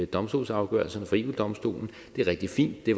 domstolsafgørelserne fra eu domstolen det er rigtig fint det